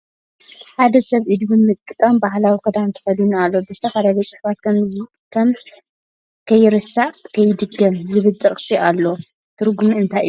ሓደ ሰብ እዱ ብምጥቃም ባህላዊ ክዳን ተከዲኑ ኣሎ ። ዝተፈላለዩ ፅሑፋት ከም ከይርሳዕ ከይድገም ዝብል ጥቅሲ እለዉ ። ትርጉሙ ኣንታይ እዩ ?